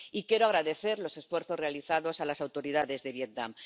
Y quiero agradecer los esfuerzos realizados a las autoridades de Vietnam.